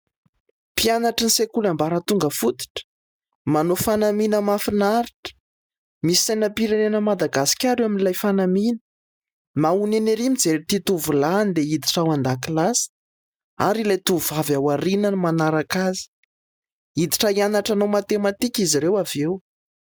Mpianatra sekoly ambaratonga fototra. Manao fanamina mahafinaritra, misy sainam_pirenena Madagasikara eo amin'ilay fanamìna. Mahonena erý mijery ity tovolahy handeha hiditra ao an_dakilasy ary ilay tovovavy ao aorianany manaraka azy. Hiditra hianatra matematika izy ireo aveo.